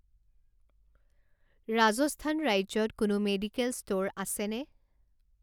ৰাজস্থান ৰাজ্যত কোনো medical store আছেনে?